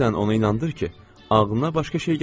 Sən onu inandır ki, ağlına başqa şey gəlməsin.